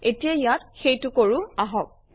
এতিয়া ইয়াত সেইটো কৰোঁ আহক